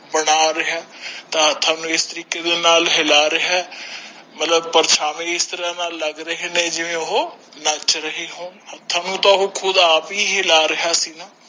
ਬਣਾ ਰਿਹਾ ਤਾ ਹਾਥ ਨੂੰ ਇਸ ਤਰੀਕੇ ਨਾਲ ਹਿਲਾ ਰਿਹਾ ਆ ਤੇ ਪ੍ਰਸ਼ਾਵੇ ਇਸ ਤ੍ਰਾਹ ਲੱਗ ਰਹੇ ਸਨ ਕਿ ਜਿਵੇਂ ਉਹ ਨਾਚ ਰਹੇ ਹੋਣ ਹਾਥ ਨੂੰ ਤਾ ਓਹੈਪਹਿਹਿਲਾ ਰਿਹਾ ਸੀ ਨਾ